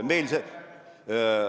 Meil see ...